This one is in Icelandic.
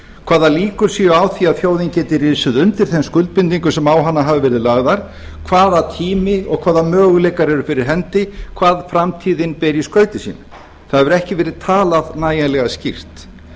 hvaða líkur séu á því að þjóðin geti risið undir þeim skuldbindingum sem á hana hafa verið lagðar hvaða tími og hvaða möguleikar eru fyrir hendi hvað framtíðin ber í skauti sínu það hefur ekki verið talað nægilega skýrt